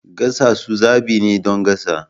Gasasu zaɓi ne don gasa.